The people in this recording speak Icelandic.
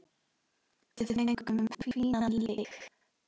Við fengum fínan leik.